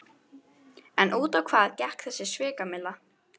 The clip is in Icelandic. En út á hvað gekk þessi svikamylla?